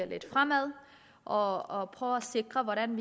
lidt fremad og og prøve at sikre hvordan